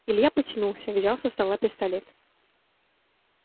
илья потянулся взял со стола пистолет